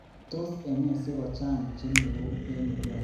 Tos ene sikochang� chemweu en Uganda?